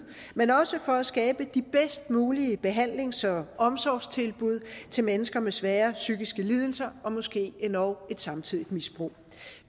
men også for at skabe de bedst mulige behandlings og omsorgstilbud til mennesker med svære psykiske lidelser og måske endog et samtidigt misbrug